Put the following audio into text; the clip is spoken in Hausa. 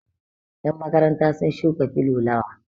yanmakaranta sun shuka filulawa